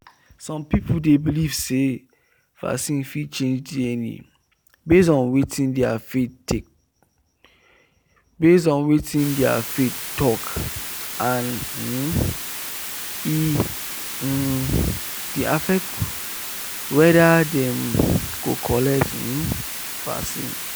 some people dey believe say vaccine fit change dna base on watin their faith talk and e um dey affect whether dem go collect um vaccine.